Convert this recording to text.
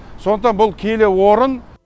сондықтан бұл киелі орын